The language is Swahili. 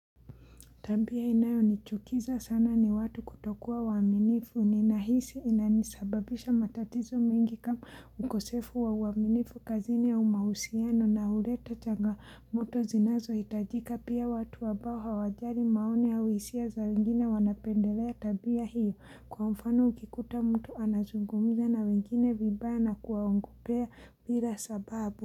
Tabia inayo nichukiza sana ni watu kutokua waminifu ni nahisi inanisababisha matatizo mingi kama ukosefu wa uwaminifu kazini ya mahusiano na huleta changa moto zinazo hitajika pia watu ambao hawajari maoni au hisia za wengine wanapendelea tabia hiyo kwa mfano ukikuta mtu anazungumza na wengine vibaya kuwa ogopea bira sababu.